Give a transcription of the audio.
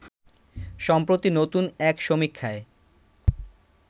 সম্প্রতি নতুন এক সমীক্ষায়